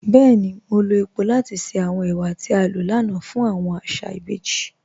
Bẹẹ̀ni, mo lọ epo lati ṣẹ awọn èwà tí a lọ lánà fun awọn àṣà ìbèjì.